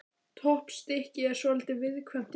Toppstykkið er svolítið viðkvæmt í dag.